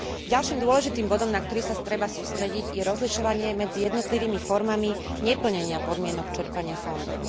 Ďalším dôležitým bodom, na ktorý sa treba sústrediť, je rozlišovanie medzi jednotlivými formami neplnenia podmienok čerpania fondov.